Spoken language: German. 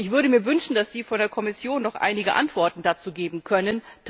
Ich würde mir wünschen, dass Sie von der Kommission noch einige Antworten dazu geben könnten.